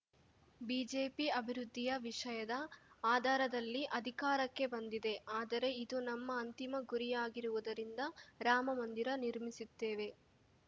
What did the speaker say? BJP ಅಭಿವೃದ್ಧಿಯ ವಿಷಯದ ಆಧಾರದಲ್ಲಿ ಅಧಿಕಾರಕ್ಕೆ ಬಂದಿದೆ ಆದರೆ ಇದು ನಮ್ಮ ಅಂತಿಮ ಗುರಿಯಾಗಿರುವುದರಿಂದ ರಾಮ ಮಂದಿರ ನಿರ್ಮಿಸುತ್ತೇವೆ